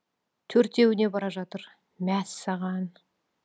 төртеуіне бара жатыр мәссаған